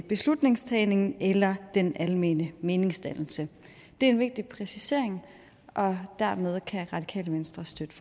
beslutningstagningen eller den almene meningsdannelse det er en vigtig præcisering og dermed kan det radikale venstre støtte